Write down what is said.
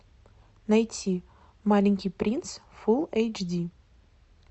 найти маленький принц фул эйч ди